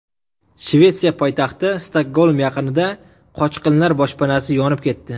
Shvetsiya poytaxti Stokgolm yaqinida qochqinlar boshpanasi yonib ketdi.